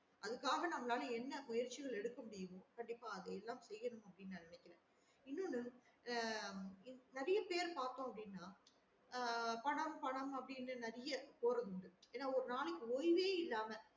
அதுக்காக நம்மலால என்ன முயற்சிகள் எடுக்க முடியுமோ கண்டிப்பா அதே தா சேயநெனக்குறேன் னும் இன்னோ ஒன்னு உம் நிறைய பேர பாத்தோம் அப்டின்னாஆஹ் பணம் பணம் அப்டின்னு நிறைய போறது உண்டு ஒரு நாளைக்கு ஓய்வே